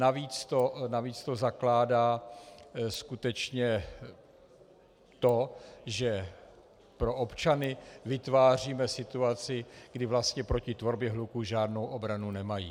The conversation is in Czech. Navíc to zakládá skutečně to, že pro občany vytváříme situaci, kdy vlastně proti tvorbě hluku žádnou obranu nemají.